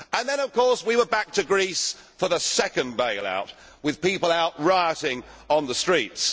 Then of course we were back to Greece for the second bail out, with people out rioting on the streets.